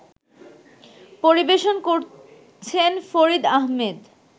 পরিবেশন করছেন ফরিদ আহমেদ